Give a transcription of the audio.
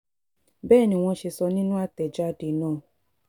bẹ́ẹ̀ ni wọ́n ṣe sọ nínú àtẹ̀jáde náà